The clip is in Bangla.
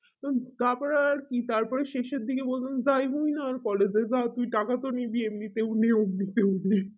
তারপরে আর কি তারপরে শেষের দিকে বলাম যাই বলি না আর collage এ যা তুই টাকা তো নিবি এমনিতেও নে অম্নিতেও নে